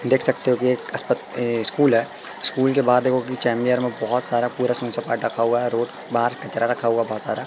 देख सकते हो कि एक अस्प अ स्कूल है स्कूल के बाहर देखो कि चेंबियर में बहोत सारा सुन सपाटा रखा हुआ है रोड बाहर कचरा रखा हुआ है बहोत सारा।